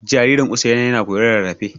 Jaririn Usaina yana koyon rarrafe.